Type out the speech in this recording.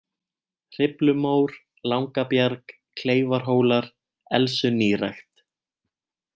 Hriflumór, Langabjarg, Kleifarhólar, Elsunýrækt